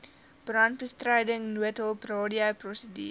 brandbestryding noodhulp radioprosedure